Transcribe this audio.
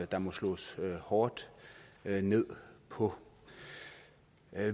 der må slås hårdt ned på